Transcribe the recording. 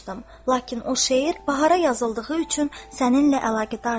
Lakin o şeir bahara yazıldığı üçün səninlə əlaqədardır.